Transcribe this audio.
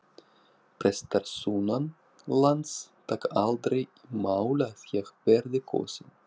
Prestar sunnanlands taka aldrei í mál að ég verði kosinn.